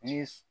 Ni